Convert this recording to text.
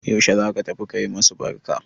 Yaushe za ka tafi ka yi masu barka?